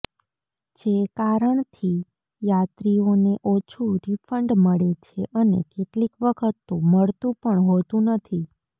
જે કારણથી યાત્રીઓને ઓછું રિફન્ડ મળે છે અને કેટલીક વખત તો મળતું પણ હોતું નથી